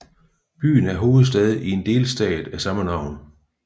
Byen er hovedstad i en delstat af samme navn